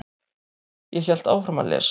Ég hélt áfram að lesa.